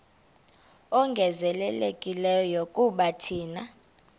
ongezelelekileyo kuba thina